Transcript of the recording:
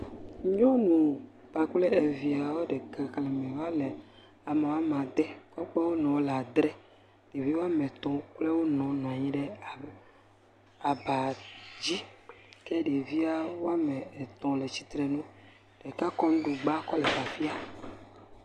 Nyɔ kpakple eviao ɖe.. xexlẽme wole woame ede kɔ kpe wo nɔ wole adre. Ɖevi woame etɔ̃ kpakple wo nɔ nɔ anyi ɖe aŋ aba dzi ke ɖevi woame etɔ̃ le tsitre nu, ɖeka kɔ nuɖugba kɔle fafia…